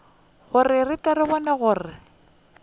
re tle re kgone go